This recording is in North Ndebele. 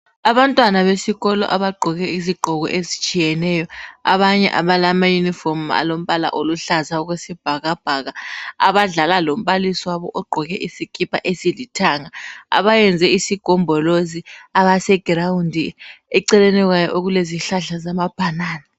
Abantwana besikolo abagqoke izigqoko ezitshiyeneyo abanye abala ma" uniform", alombala oluhlaza okwesibhakabhaka abadlala lombalisi wabo ogqoke isikipa esilithanga, abayenze isigombolozi, abase "ground" eceleni kwayo okulezihlahla zama banana.